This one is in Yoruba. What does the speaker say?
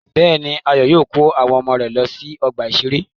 Bẹ́ẹ̀ni, Ayọ̀ yóò kó àwọn ọmọ rẹ̀ lọ sí ọgbà-ìṣeré.